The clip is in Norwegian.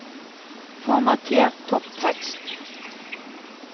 Formater topptekst